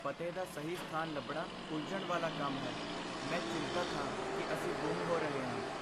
ਪਤੇ ਦਾ ਸਹੀ ਸਥਾਨ ਲੱਭਣਾ ਉਲਝਣ ਵਾਲਾ ਕੰਮ ਹੈ। ਮੈਂ ਚਿੰਤਤ ਹਾਂ ਕਿ ਅਸੀਂ ਗੁੰਮ ਹੋ ਰਹੇ ਹਾਂ।